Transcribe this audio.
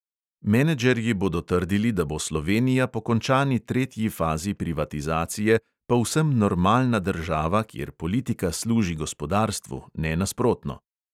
Menedžerji bodo trdili, da bo slovenija po končani tretji fazi privatizacije povsem normalna država, kjer politika služi gospodarstvu, ne nasprotno.